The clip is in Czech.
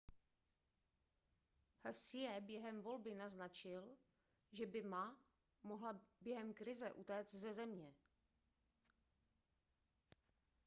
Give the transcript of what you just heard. hsieh během volby naznačil že by ma mohla během krize utéct ze země